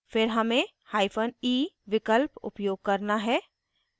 फिर हमें hyphen e विकल्प उपयोग करना है